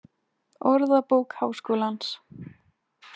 Orðabók Háskólans.